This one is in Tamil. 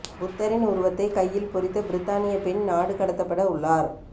புத்தரின் உருவத்தை கையில் பொறித்த பிரித்தானிய பெண் நாடு கடத்தப்பட உள்ளார்